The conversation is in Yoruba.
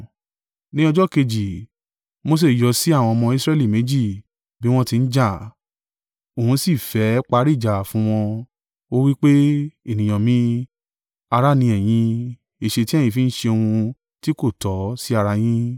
Ní ọjọ́ kejì Mose yọ sí àwọn ọmọ Israẹli méjì bí wọ́n ti ń jà. Òun si fẹ́ parí ìjà fún wọn. Ó wí pé, ‘Ènìyàn mi, ará ni ẹ̀yin; èéṣe tí ẹ̀yin fi ń ṣe ohun tí kò tọ́ sí ara yín?’